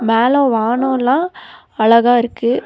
மேல வானோல்லா அழகா இருக்கு.